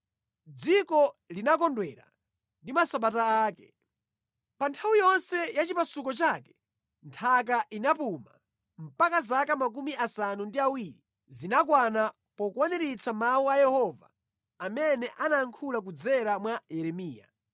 Dziko linakondwera ndi masabata ake. Pa nthawi yonse ya chipasuko chake nthaka inapuma, mpaka zaka 70 zinakwana pokwaniritsa mawu a Yehova amene anayankhula kudzera mwa Yeremiya.